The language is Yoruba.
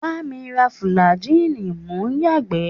Bá mi ra fùlàjíìnì mò ń yàgbẹ́!